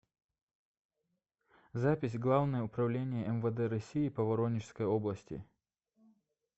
запись главное управление мвд россии по воронежской области